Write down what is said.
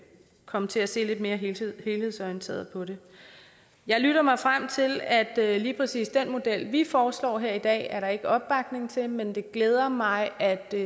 komme til at se lidt mere helhedsorienteret på det jeg lytter mig frem til at lige præcis den model vi foreslår her i dag er der ikke opbakning til men det glæder mig at der